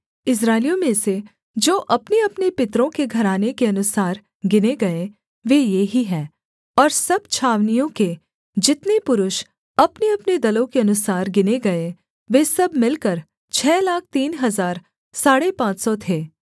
इस्राएलियों में से जो अपनेअपने पितरों के घराने के अनुसार गिने गए वे ये ही हैं और सब छावनियों के जितने पुरुष अपनेअपने दलों के अनुसार गिने गए वे सब मिलकर छः लाख तीन हजार साढ़े पाँच सौ थे